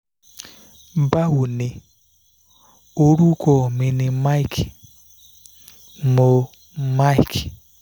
báwo ni orúkọ mi ni mike mo mike